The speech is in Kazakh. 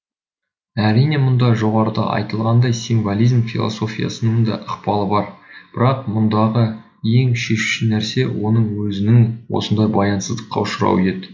әрине мұнда жоғарыда айтылғандай символизм философиясының да ықпалы бар бірақ мұндағы ең шешуші нәрсе оның өзінің осындай баянсыздыққа ұшырауы еді